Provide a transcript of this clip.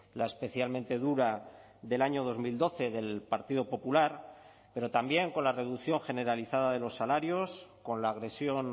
la especialmente dura del año dos mil doce del partido popular pero también con la reducción generalizada de los salarios con la agresión